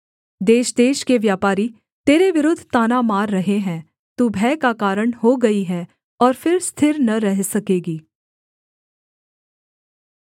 देशदेश के व्यापारी तेरे विरुद्ध ताना मार रहे हैं तू भय का कारण हो गई है और फिर स्थिर न रह सकेगी